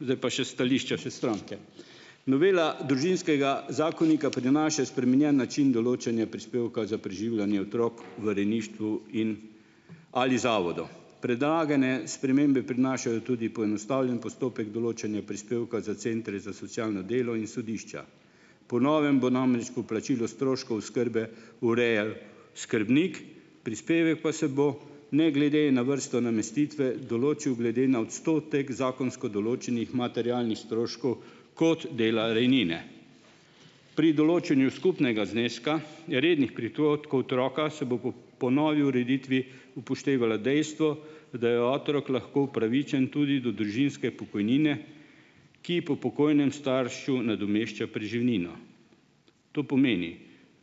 zdaj pa še stališče s stranke. Novela Družinskega zakonika prinaša spremenjen način določanja prispevka za preživljanje otrok v rejništvu in/ ali zavodu. Predlagane spremembe prinašajo tudi poenostavljen postopek določanja prispevka za centre za socialno delo in sodišča. Po novem bo namreč poplačilo stroškov oskrbe urejal skrbnik, prispevek pa se bo ne glede na vrsto namestitve določil glede na odstotek zakonsko določenih materialnih stroškov kot dela rejnine. Pri določanju skupnega zneska rednih prihodkov otroka se bo po novi ureditvi upoštevalo dejstvo, da je otrok lahko upravičen tudi do družinske pokojnine, ki po pokojnem staršu nadomešča preživnino. To pomeni,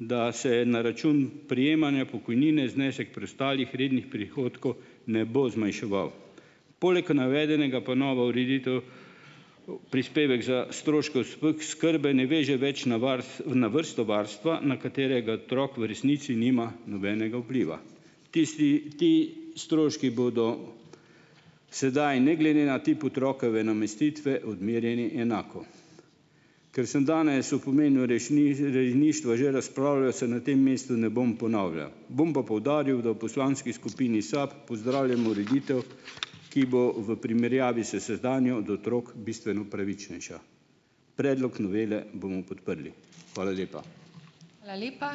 da se na račun prejemanja pokojnine znesek preostalih rednih prihodkov ne bo zmanjševal. Poleg navedenega pa nova ureditev prispevek za stroške oskrbe ne veže več na na vrsto varstva, na katerega otrok v resnici nima nobenega vpliva. Tisti, ti stroški bodo sedaj ne glede na tip otrokove namestitve odmerjeni enako. Ker sem danes o pomenu rejništva že razpravljal, se na tem mestu ne bom ponavljal. Bom pa poudaril, da v poslanski skupini SAB pozdravljamo ureditev, ki bo v primerjavi s sedanjo do otrok bistveno pravičnejša. Predlog novele bomo podprli. Hvala lepa.